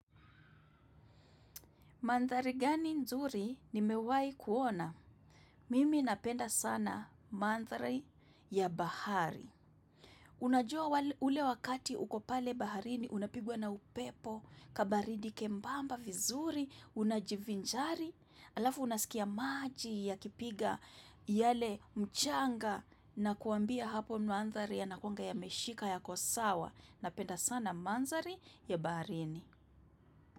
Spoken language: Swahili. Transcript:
Mandari gani nzuri ni mewai kuona. Mimi napenda sana mandari ya bahari. Unajua ule wakati uko pale baharini unapigwa na upepo kabaridi kembamba vizuri unajivinjari alafu unasikia maji ya kipiga yale mchanga na kuambia hapo mandari yanakuanga yameshika yako sawa napenda sana mandari ya baharini.